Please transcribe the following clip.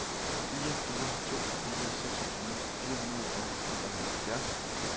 fire fire to fire seksogtyve fire hundrede og nioghalvfjerds